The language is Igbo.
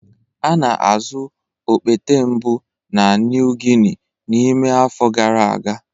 A na-azụ okpete mbụ na New Guinea n'ime afọ gara aga.